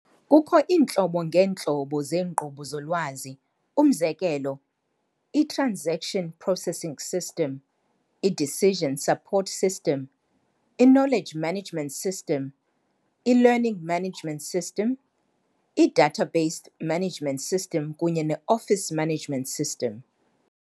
Kukho iintlobo ngeentlobo zeenkqubo zolwazi, umzekelo- i-transaction processing system, i-decision support system, i-knowledge management system, i-learning management system, i-database management system kunye office management system.